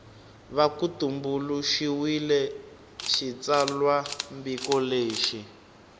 va ku tumbuluxiwile xitsalwambiko lexi